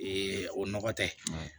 o nɔgɔ tɛ